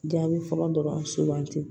Jaabi fɔlɔ dɔrɔn sugandi